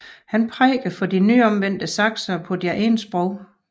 Han prædikede for de nyomvendte saksere på deres eget sprog